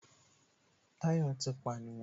Táyọ̀ ti pànìyàn